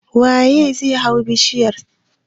Waye zai hau bishiyar?